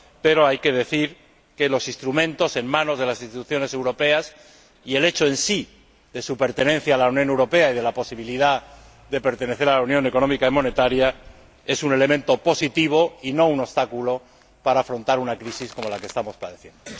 Pero hay que decir que los instrumentos en manos de las Instituciones europeas y el hecho en sí de su pertenencia a la Unión Europea y de la posibilidad de pertenecer a la Unión Económica y Monetaria, es un elemento positivo y no un obstáculo para afrontar una crisis como la que estamos padeciendo.